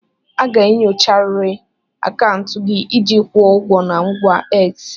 A ga-enyocharịrị akaụntụ gị iji kwụọ ụgwọ na ngwa X.